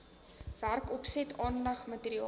werkopset aanleg materiaal